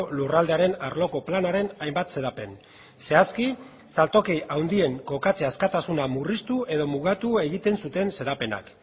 lurraldearen arloko planaren hainbat xedapen zehazki saltoki handien kokatze askatasuna murriztu edo mugatu egiten zuten xedapenak